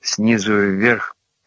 снизу вверх